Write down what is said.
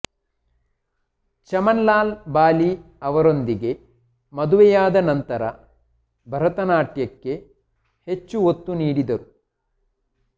ಚಮನ್ಲಾಲ್ ಬಾಲಿ ಅವರೊಂದಿಗೆ ಮದುವೆಯಾದ ನಂತರ ಭರತನಾಟ್ಯಕ್ಕೆ ಹೆಚ್ಚು ಒತ್ತು ನೀಡಿದರು